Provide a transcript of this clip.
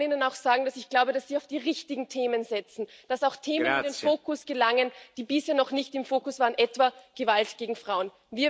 Und ich kann Ihnen auch sagen, dass ich glaube, dass Sie auf die richtigen Themen setzen, dass auch Themen in den Fokus gelangen, die bisher noch nicht im Fokus waren, etwa Gewalt gegen Frauen.